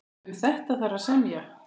Um þetta þarf að semja.